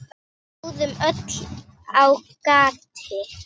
Við stóðum öll á gati.